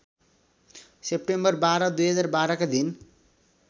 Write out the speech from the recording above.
September १२ २०१२ का दिन